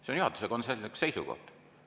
See on juhatuse konsensuslik seisukoht.